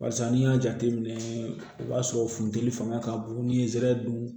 Barisa n'i y'a jateminɛ o b'a sɔrɔ funteni fanga ka bon ni zɛrɛn